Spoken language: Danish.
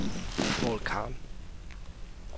Poul Khan